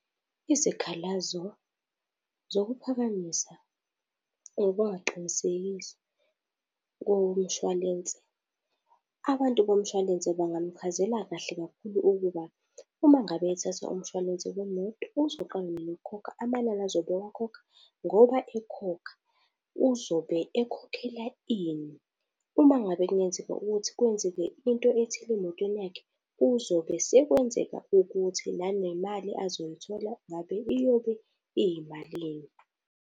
Izikhalazo zokuphakamisa or ukungaqinisekisi komshwalense. Abantu bomshwalense bangamuchazela kahle kakhulu ukuba, uma ngabe ethatha umshwalense wemoto uzoqala nini ukukhokha, amanani azobe ewakhokha, ngoba ekhokha uzobe ekhokhela ini. Uma ngabe kungenzeka ukuthi kwenzeke into ethile emotweni yakhe, kuzobe sekwenzeka ukuthi, nanemali azoyithola ngabe iyobe iyimalini.